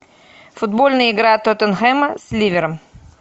футбольная игра тоттенхэма с ливером